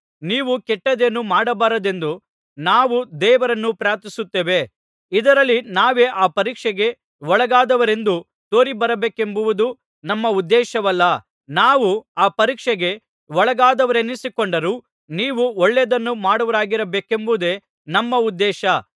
ನೀವು ಕೆಟ್ಟದ್ದೇನೂ ಮಾಡಬಾರದೆಂದು ನಾವು ದೇವರನ್ನು ಪ್ರಾರ್ಥಿಸುತ್ತೇವೆ ಇದರಲ್ಲಿ ನಾವೇ ಆ ಪರೀಕ್ಷೆಗೆ ಒಳ್ಳಗಾದವರೆಂದು ತೋರಿ ಬರಬೇಕೆಂಬುದು ನಮ್ಮ ಉದ್ದೇಶವಲ್ಲ ನಾವು ಆ ಪರೀಕ್ಷೆಗೆ ಒಳ್ಳಗಾದವರೆನಿಸಿಕೊಂಡರೂ ನೀವು ಒಳ್ಳೆಯದನ್ನು ಮಾಡುವವರಾಗಬೇಕೆಂಬುದೇ ನಮ್ಮ ಉದ್ದೇಶ